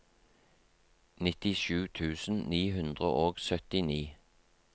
nittisju tusen ni hundre og syttini